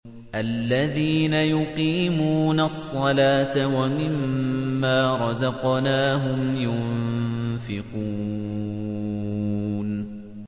الَّذِينَ يُقِيمُونَ الصَّلَاةَ وَمِمَّا رَزَقْنَاهُمْ يُنفِقُونَ